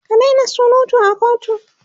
ki Daina surutu a kotu!